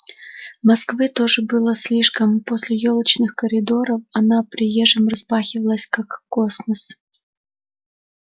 москвы тоже было слишком после ёлочных коридоров она приезжим распахивалась как космос